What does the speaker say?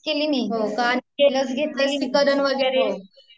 हो का